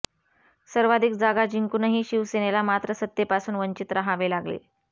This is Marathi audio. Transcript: सर्वाधिक जागा जिंकूनही शिवसेनेला मात्र सत्तेपासून वंचित रहावे लागले